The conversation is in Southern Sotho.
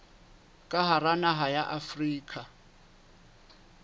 ka hara naha ya afrika